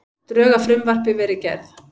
Drög að frumvarpi verið gerð